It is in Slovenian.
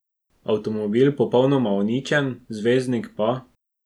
Avtomobil popolnoma uničen, zvezdnik pa ...